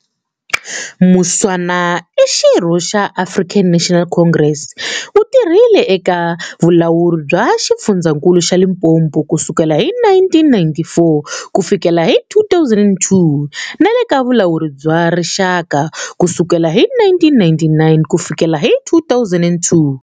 Mushwana i xirho xa African National Congress, u tirhile eka Vulawuri bya Xifundzakulu xa Limpopo kusukela hi 1994 kufikela hi 2002, na le ka Vulawuri bya Rixaka ku sukela hi 1999 ku fikela hi 2002.